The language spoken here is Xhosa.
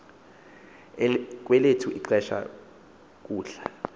kwelethu ixesha kudla